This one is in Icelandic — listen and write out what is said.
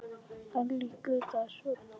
Hún leikur djass og popp.